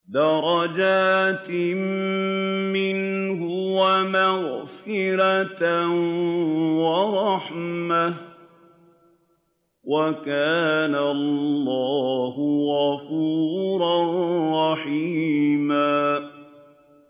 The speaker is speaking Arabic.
دَرَجَاتٍ مِّنْهُ وَمَغْفِرَةً وَرَحْمَةً ۚ وَكَانَ اللَّهُ غَفُورًا رَّحِيمًا